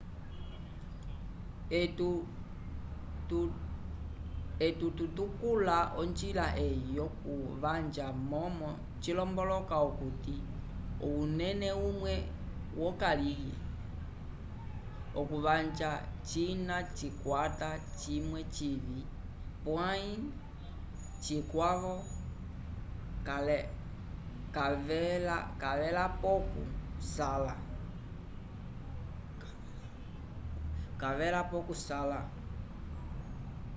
etu tu tukula onjila eyi yo ku vanja momo cilomboloka okuti okunena vimwe vyo kalihe okuvanja cina cikwata cimwe civi pwayi cikwavo cavelapocu sala